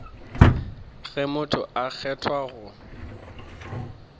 ge motho a kgethwa go